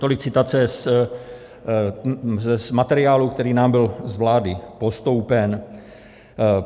Tolik citace z materiálu, kterým nám byl z vlády postoupen.